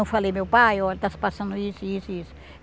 Eu falei, meu pai, olha, está se passando isso, isso e isso.